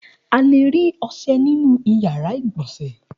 A le rí ọṣẹ nínú ìyàrá-ìgbọ̀nsẹ̀.